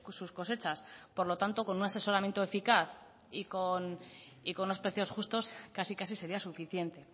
sus cosechas por lo tanto con un asesoramiento eficaz y con unos precios justos casi casi sería suficiente